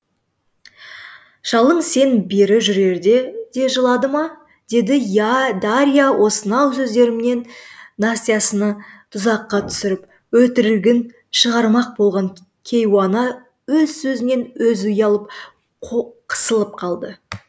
шалың сен бері жүрерде де жылады ма деді дарья осынау сөздерімен настасьяны тұзаққа түсіріп өтірігін шығармақ болған кейуана өз сөзінен өзі ұялып қысылып қалды